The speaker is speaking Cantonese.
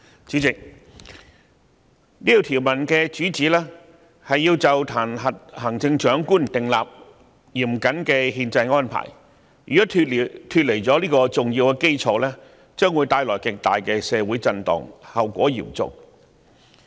"主席，這項條文旨在就彈劾行政長官訂立嚴謹的憲制安排，如果脫離了這個重要基礎，將會造成極大的社會震盪，後果相當嚴重。